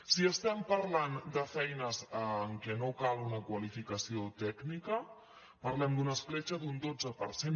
si estem parlant de feines en què no cal una qualificació tècnica parlem d’una escletxa d’un dotze per cent